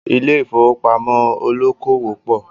Ilé ìfowópamọ́ olókòwò pọ̀